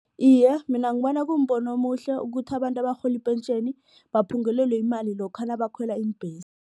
Iye, mina ngibona kumbono omuhle ukuthi abantu abarhola ipentjheni baphungulelwe imali lokha nabakhwela iimbhesi.